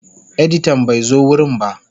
Editan bai zo wurin ba.